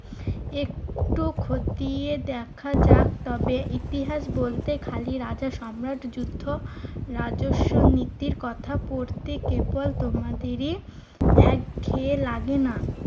একটু খতিয়ে দেখা যাক। তবে ইতিহাস বলতে খালি রাজা, সম্রাট, যুদ্ধ, রাজস্ব নীতির কথা পড়তে কেবল তোমাদেরই একঘেঁয়ে লাগে না?